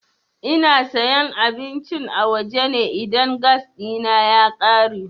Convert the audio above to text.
Ina sayan abincin a waje ne idan gas ɗina ya ƙare.